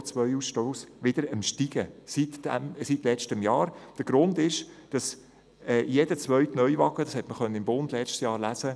Der Grund für dieses Ansteigen ist, dass es sich bei jedem zweiten Neuwagen um einen Geländewagen handelt.